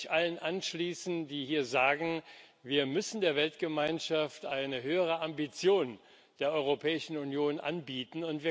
Ich kann mich allen anschließen, die hier sagen, wir müssen der Weltgemeinschaft eine höhere Ambition der Europäischen Union anbieten.